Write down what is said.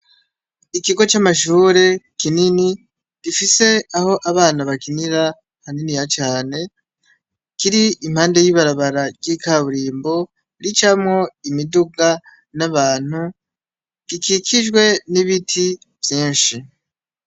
Ikigo c'amashure kinini gifise aho abana bakinira haniniya cane, kiri impande y'ibarabara ry'ikaburimbo ricamwo imiduga n'abantu, bikikijwe n'ibiti vyinshi.